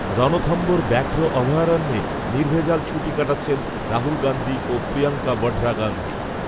রণথম্ভোর ব্যাঘ্র অভয়ারণ্যে নির্ভেজাল ছুটি কাটাচ্ছেন রাহুল গান্ধী ও প্রিয়ঙ্কা বঢরা গান্ধী